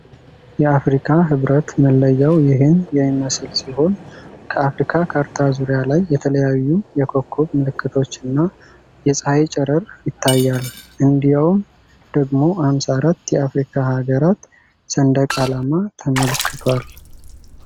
የአፍሪካ ህብረት መለያው ይህን የሚመስል ሲሆን ከአፍሪካ ካርታ ዙሪያ ላይ የተለያዩ የኮከብ ምልክቶችና የፀሀይ ጨረር ይታያል። እንዲያውም ደግሞ 54 የአፍሪካ ሀገራት ሰንደቅ አላማ ተመልክቷል።